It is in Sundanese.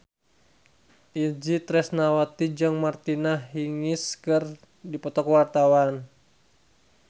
Itje Tresnawati jeung Martina Hingis keur dipoto ku wartawan